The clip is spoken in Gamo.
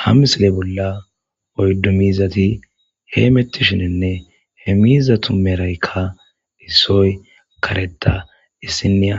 ha misile bolla oyddu mizati hee mettishinenne he mizatu meraykka issoy kareta issiniya